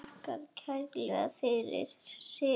Þakkar kærlega fyrir sig.